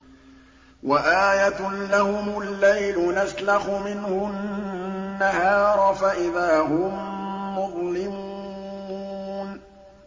وَآيَةٌ لَّهُمُ اللَّيْلُ نَسْلَخُ مِنْهُ النَّهَارَ فَإِذَا هُم مُّظْلِمُونَ